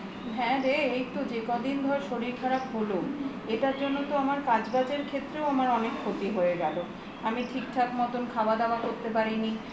হ্যা রে এই ধর যে কদিন শরীর খারাপ হল এটার জন্য তো আমার কাজ বাজের ক্ষেত্রেও আমার অনেক ক্ষতি হয়ে গেল আমি ঠিক ঠাক মতো খাওয়া দাওয়া করতে পারি নি